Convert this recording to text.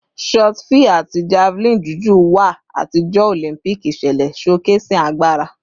Shot fi ati javelin jiju wà atijọ Olympic iṣẹlẹ, showcasing agbara